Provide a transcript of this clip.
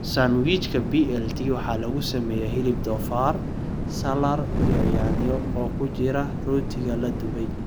Sandwijka BLT waxaa lagu sameeyay hilib doofaar, salaar iyo yaanyo oo ku jira rootiga la dubay.